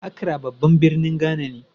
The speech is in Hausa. Acra babban birnin Ghana ne.